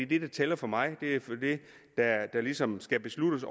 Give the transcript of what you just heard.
det der tæller for mig det er der ligesom skal besluttes